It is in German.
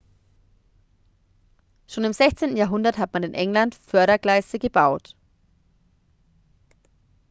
schon im 16. jahrhundert hat man in england fördergleise gebaut